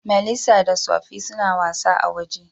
Melissa da Sophie suna wasa a'woje.